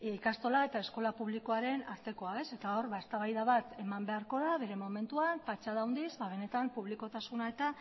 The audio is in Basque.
ikastola eta eskola publikoaren artekoa eta hor eztabaida bat eman beharko da bere momentuan patxada handiz benetan publikotasuna eta